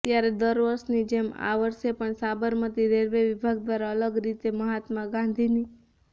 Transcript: ત્યારે દર વર્ષની જેમ આ વર્ષે પણ સાબરમતી રેલવે વિભાગ દ્વારા અલગ રીતે મહાત્મા ગાંધીની